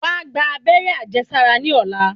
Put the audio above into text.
Wá gba abẹ́rẹ́ àjẹsára ní ọ̀lá.